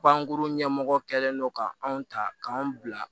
Bagankuru ɲɛmɔgɔ kɛlen don k'an ta k'an bila